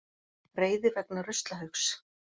Reiði vegna ruslahaugs